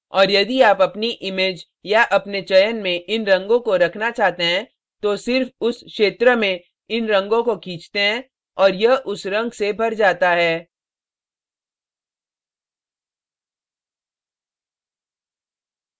और यदि आप अपनी image या अपने चयन में इन रंगों को रखना चाहते हैं तो सिर्फ उस क्षेत्र में इन रंगों को खींचते हैं और यह उस रंग से भर जाता है